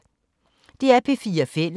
DR P4 Fælles